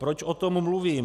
Proč o tom mluvím?